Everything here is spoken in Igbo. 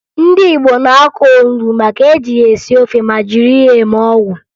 Ndị Igbo na-akụ onubo maka e ji ya esi ofe ma jiri ya eme ọgwụ